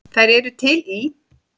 Þær eru til í